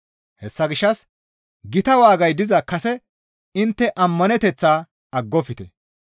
Hessa gishshas gita waagay diza kase intte ammaneteththaa aggofte.